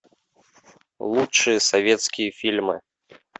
лучшие советские фильмы